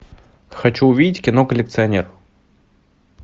хочу увидеть кино коллекционер